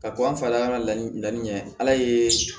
Ka ko an fa la an ka laɲini laɲini ye ala ye